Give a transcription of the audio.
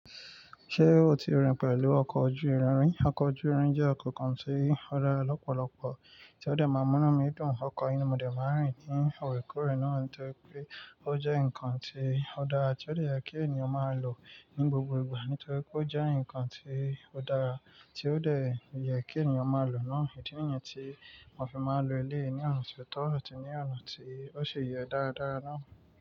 Ṣé o ti rìn pẹ̀lú ọkọ̀ ojú irin ri? Ọkọ̀ ojú irin jẹ́ ọkọ̀ kan tí ó dára lọ́pọ̀lọpọ̀ tí ó dẹ máa mú inù mí dun ọkọ̀ yi ni mo dẹ máa ń rìn ní orékóóré nítorí pé ó jẹ́ nǹkan tí ó dára tí ó dẹ yẹ kí ènìyàn máa lò ní gbogbo ìgbà nítorí pé ó jẹ́ nǹkan tí ó dára tí ó lè yẹ kí ènìyàn máa lò náà. Ìdí nìyi tí wọ́n fi máa ń lo eleyi ní ọ̀nà ti ò tọ àti ní ọ̀nà tí ó sí yẹ dáradára náà.